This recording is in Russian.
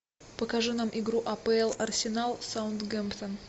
покажи нам игру апл арсенал саутгемптон